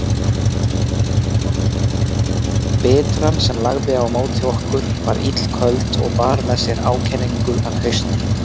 Bitran sem lagði á móti okkur var illköld og bar með sér ákenningu af hausti.